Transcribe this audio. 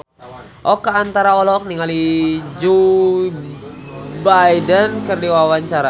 Oka Antara olohok ningali Joe Biden keur diwawancara